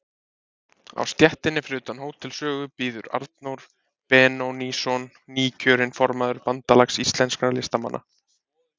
Á stéttinni fyrir utan Hótel Sögu bíður Arnór Benónýsson, nýkjörinn formaður Bandalags íslenskra listamanna.